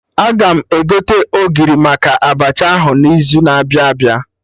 Aga m egote Ogiri maka Abacha ahụ n'izu na-abịa abịa